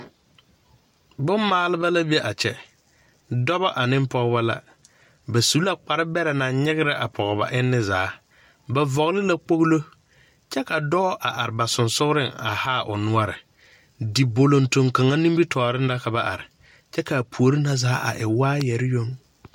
Bomaaleba la be a kyԑ, dͻbͻ aneŋ pͻgebͻ la. Ba su la kpare bԑrԑ naŋ nyegerԑ a pͻge ba enne zaa. Ba vͻgele la kpogilo kyԑ ka dͻͻ a are ba sensogeliŋ a haa o noͻre. Dibolontol kaŋa nimbitͻͻreŋ la ka ba are, kyԑ ka a puori na zaa a e waayԑre yoŋ.